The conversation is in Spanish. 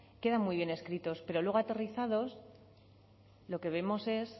queda muy bien escritos pero luego aterrorizados lo que vemos es